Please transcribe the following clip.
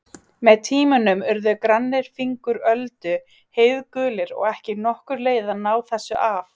Með tímanum urðu grannir fingur Öldu heiðgulir og ekki nokkur leið að ná þessu af.